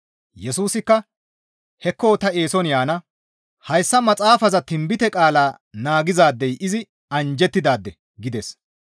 Yesusikka, «Hekko ta eeson yaana; hayssa maxaafaza tinbite qaala naagizaadey izi anjjettidaade» gides.